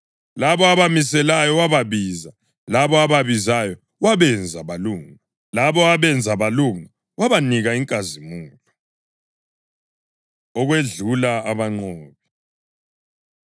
Labo abamiselayo, wababiza; labo ababizayo, wabenza balunga; labo abenza balunga, wabanika inkazimulo. Okwedlula Abanqobi